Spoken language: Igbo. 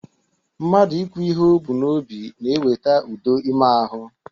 Mmadụ ikwu ihe o bu n'obi na-eweta udo ime ahụ